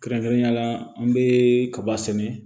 Kɛrɛnkɛrɛnnenya la an bɛ kaba sɛnɛ